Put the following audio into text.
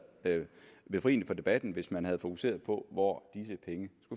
befriende for debatten hvis man havde fokuseret på hvor disse penge